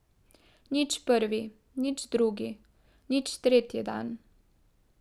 Nič prvi, nič drugi, nič tretji dan.